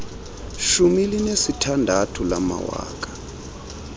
shumi linesithandathu samawaka